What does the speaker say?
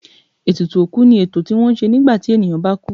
Ètùtù òkú ni ètò tí wọ́n má ń ṣe nígbà tí ènìyàn bá kú.